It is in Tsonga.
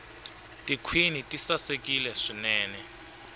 tikhwini ti sasekile swinene